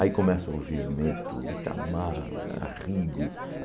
Aí começa a ouvir Hermeto, Itamar, Arrigo.